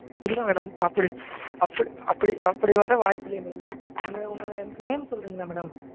இல்ல madam அப்படி அப்படி அப்படி வர வாய்ப்பில்லையே madam. உங்க உங்க name சொல்றீங்களா madam?